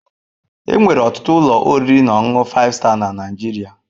Enwere ọtụtụ ụlọ oriri na ọṅụṅụ 5star na Nigeria